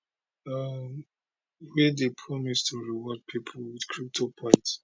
um wey dey promise to reward pipo wit crypto point